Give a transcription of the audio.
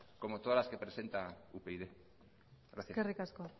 como todas las que presenta upyd gracias eskerrik asko